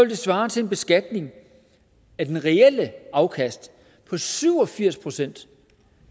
det svare til en beskatning af det reelle afkast på syv og firs procent